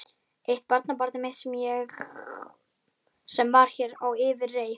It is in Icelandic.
Eitt barnabarnið mitt sem var hér á yfirreið.